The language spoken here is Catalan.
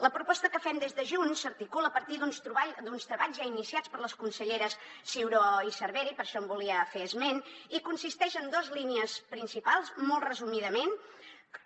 la proposta que fem des de junts s’articula a partir d’uns treballs ja iniciats per les conselleres ciuró i cervera i per això en volia fer esment i consisteix en dos línies principals molt resumidament que